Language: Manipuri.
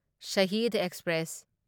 ꯁꯥꯍꯤꯗ ꯑꯦꯛꯁꯄ꯭ꯔꯦꯁ